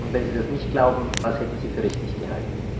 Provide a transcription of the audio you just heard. Wenn Sie das nicht glauben, was hätten Sie für richtig gehalten?